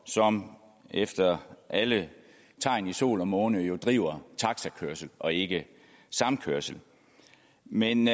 som efter alle tegn i sol og måne jo driver taxakørsel og ikke samkørsel men